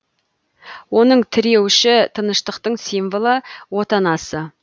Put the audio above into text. оның тіреуіші тыныштықтың символы отанасы